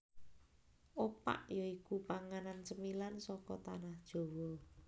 Opak ya iku panganan cemilan saka Tanah Jawa